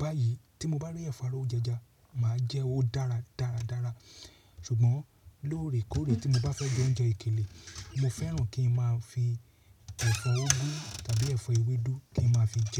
Báyìí tí mo bá rí ẹ̀fọ́ arówó jẹja, màá jẹ́ o dára dáradára. Ṣùgbọ́n lóòrèkóòrè tí mo bá fẹ́ jẹ oúnjẹ èkèlè, mo fẹ́ràn kí n máa fi ẹ̀fọ́ úgú tàbí ẹ̀fọ́ ewédú kí n máa fi jẹ́